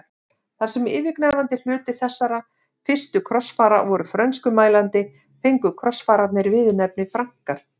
Þar sem yfirgnæfandi hluti þessara fyrstu krossfara voru frönskumælandi fengu krossfararnir viðurnefnið Frankar.